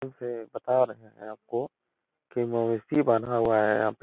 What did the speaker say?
वे बता रहे हैं आपको के बना हुआ है। यहाँ पे --